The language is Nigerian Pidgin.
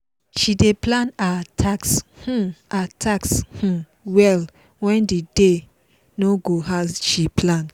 she dey plan her task um her task um well when the day no go as she plan.